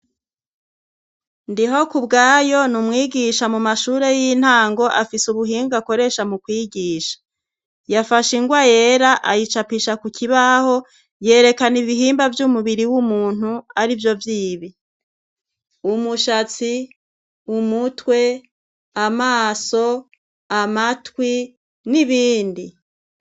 Ndihokubwayo ni umwigisha mu mashure y'intango afise ubuhinga akoresha mu kwigisha. Yafashe ingwa yera ayicapisha ku kibaho, yerekana ibihimba vy'umubiri w'umuntu ari vyo vyibi : umushatsi , umutwe, amaso, amatwi n'ibindi.